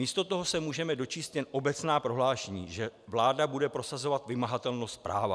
Místo toho se můžeme dočíst jen obecná prohlášení, že vláda bude prosazovat vymahatelnost práva.